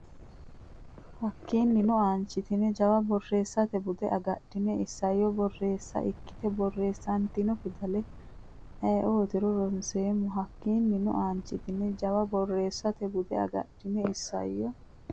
Hakiinnino aanchitine Jawa borreessate bude agadhine isayyo borreessa ikkite borreessantino fidale ayeetiro ronseemmo Hakiinnino aanchitine Jawa borreessate bude agadhine isayyo.